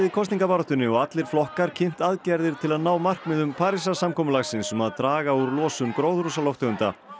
kosningabaráttunni og allir flokkar kynnt aðgerðir til að ná markmiðum Parísarsamkomulagsins um að draga úr losun gróðurhúsalofttegunda